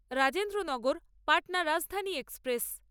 Rajendranagar Patna Rajdhani express